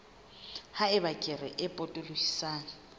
ha eba kere e potolohisang